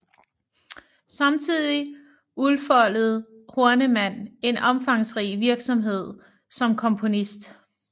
Samtidig udfoldede Horneman en omfangsrig virksomhed som komponist